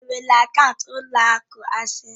Ị nwere akaụntụ na ụlọ akụ Asés?